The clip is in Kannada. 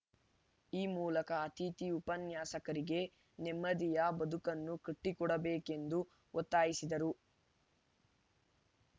ಈ ಮೂಲಕ ಅತಿಥಿ ಉಪನ್ಯಾಸಕರಿಗೆ ನೆಮ್ಮದಿಯ ಬದುಕನ್ನು ಕಟ್ಟಿಕೊಡಬೇಕೆಂದು ಒತ್ತಾಯಿಸಿದರು